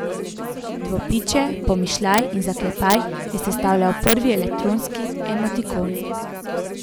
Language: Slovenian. Dvopičje, pomišljaj in zaklepaj je sestavljal prvi elektronski emotikon.